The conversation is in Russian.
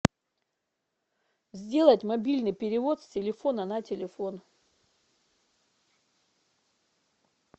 сделать мобильный перевод с телефона на телефон